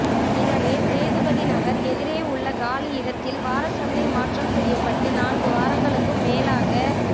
எனவே சேதுபதிநகர் எதிரே உள்ள காலி இடத்தில் வாரச்சந்தை மாற்றம் செய்யப்பட்டு நான்கு வாரங்களுக்கும் மேலாக